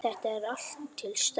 Þetta er allt til staðar!